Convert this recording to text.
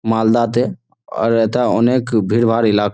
মালদা তে ওর এটা অনেক ভিড়ভাড় এলাক--